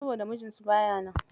Saboda mijinsu baya nan.